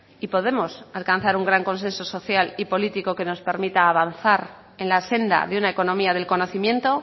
y podemos alcanzar un gran consenso social y político que nos permita avanzar en la senda de una economía del conocimiento